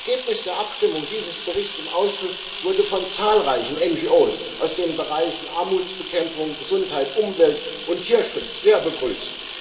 Das Ergebnis der Abstimmung über diesen Bericht im Ausschuss wurde von zahlreichen NGOs aus den Bereichen Armutsbekämpfung, Gesundheit, Umwelt und Tierschutz sehr begrüßt.